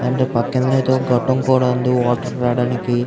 And పక్కన అయితే గొట్టం కూడా ఉంది వాటర్ రావడానికి.